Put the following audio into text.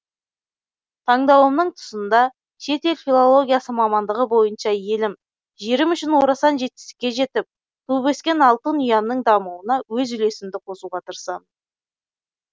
тандауымның тұсында шетел филологиясы мамандығы бойынша елім жерім үшін орасан жетістікке жетіп туып өскен алтын ұямның дамуына өз үлесімді қосұға тырысамын